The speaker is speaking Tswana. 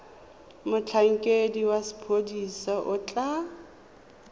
motlhankedi wa sepodisi o tla